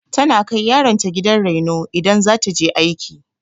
Tana kai yaron ta gidan raino idan za ta je aiki.